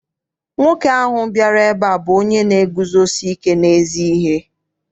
Nwoke ahụ bịara ebe a bụ onye na-eguzosike n'ezi ihe.